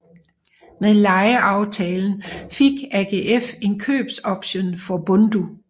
Med lejeaftalen fik AGF en købsoption for Bundu